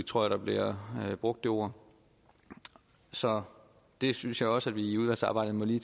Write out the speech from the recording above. tror at der bliver brugt det ord så det synes jeg også at vi i udvalgsarbejdet lige